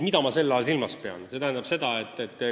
Mida ma silmas pean?